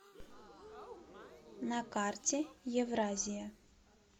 на карте евразия